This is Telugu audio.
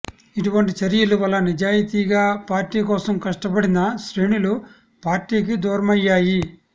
ఇటువంటి చర్యల వల్ల నిజాయితీగా పార్టీ కోసం కష్టపడిన శ్రేణులు పార్టీకి దూరమయ్యాయి